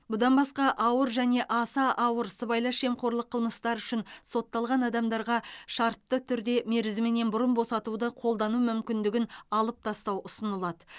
бұдан басқа ауыр және аса ауыр сыбайлас жемқорлық қылмыстары үшін сотталған адамдарға шартты түрде мерзімінен бұрын босатуды қолдану мүмкіндігін алып тастау ұсынылады